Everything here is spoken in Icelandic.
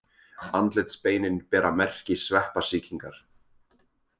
Andlitsbeinin bera merki sveppasýkingar.